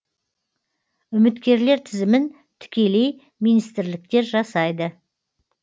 үміткерлер тізімін тікелей министрліктер жасайды